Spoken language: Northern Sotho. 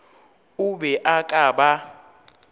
o be o ka ba